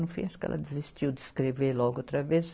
No fim, acho que ela desistiu de escrever logo outra vez.